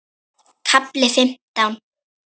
KAFLI FIMMTÁN